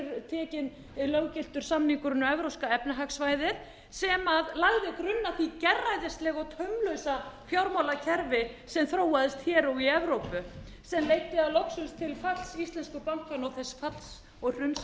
hér er tekinn löggiltur samningur inn á evrópska efnahagssvæðið sem lagði grunn að því gerræðislega og taumlausa fjármálakerfi sem þróaðist hér og í evrópu sem leiddi að lokum til falls íslensku bankanna og þess falls og hruns sem við